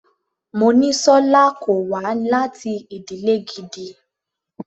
Monísọ́lá kò wá láti ìdílè gidi.